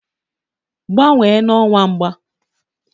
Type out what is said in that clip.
Gbanwee na ọwa mgba!